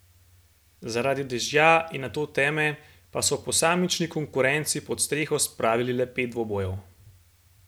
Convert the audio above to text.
Zaradi dežja in nato teme pa so v posamični konkurenci pod streho spravili le pet dvobojev.